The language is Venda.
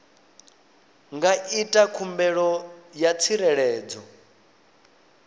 nga ita khumbelo ya tsireledzo